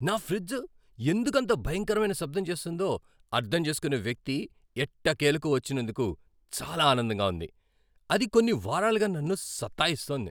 నా ఫ్రిజ్ ఎందుకంత భయంకరమైన శబ్దం చేస్తోందో అర్థం చేసుకునే వ్యక్తి ఎట్టకేలకు వచ్చినందుకు చాలా ఆనందంగా ఉంది, అది కొన్ని వారాలుగా నన్ను సతాయిస్తోంది!